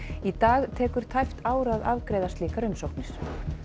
í dag tekur tæpt ár að afgreiða slíkar umsóknir